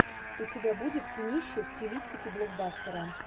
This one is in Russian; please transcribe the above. у тебя будет кинище в стилистике блокбастера